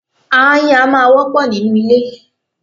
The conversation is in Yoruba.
Aáyán a máa wọ́pọ̀ nínú ilé.